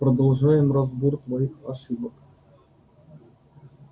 продолжаем разбор твоих ошибок